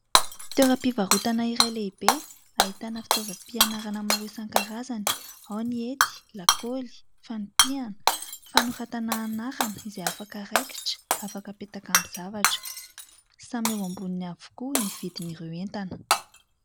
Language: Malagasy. Toeram-pivarotana iray lehibe, ahitana fitaovam-pianarana maro isan-karazany. Ao ny hety, lakaoly, fanipiana, fanoratana anarana izay afaka araikitra, afaka apetaka amin'ny zavatra. Samy eo amboniny avokoa ny vidin'ireo entana.